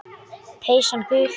Peysan gul.